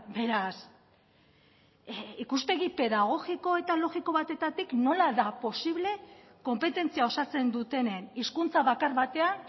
beraz ikuspegi pedagogiko eta logiko batetatik nola da posible konpetentzia osatzen dutenen hizkuntza bakar batean